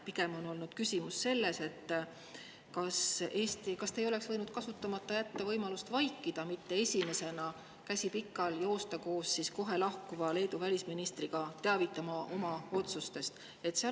Pigem on küsimus selles, kas te ei oleks võinud võimalust vaikida, mitte esimesena, käsi pikal, joosta koos kohe lahkuva Leedu välisministriga oma otsustest teavitama.